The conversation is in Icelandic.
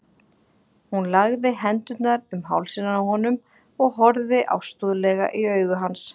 Hún lagði hendurnar um hálsinn á honum og horfði ástúðlega í augu hans.